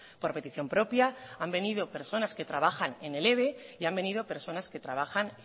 por petición propia han venido personas que trabajan en el eve y han venido personas que trabajan